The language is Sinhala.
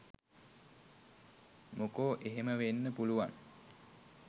මොකෝ එහෙම වෙන්න පුළුවන්